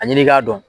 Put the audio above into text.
A ɲini k'a dɔn